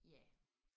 Ja